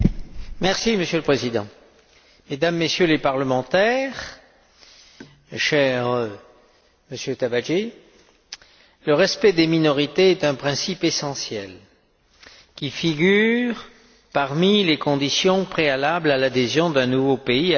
Monsieur le Président, Mesdames, Messieurs les parlementaires, cher Monsieur Tabajdi, le respect des minorités est un principe essentiel qui figure parmi les conditions préalables à l'adhésion d'un nouveau pays à l'Union.